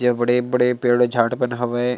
ये बड़े-बड़े पेड़ झाड़ वन हवे।